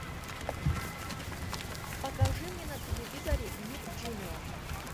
покажи мне на телевизоре ник джуниор